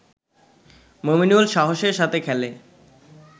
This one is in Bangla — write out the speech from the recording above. মমিনুল সাহসের সাথে খেলে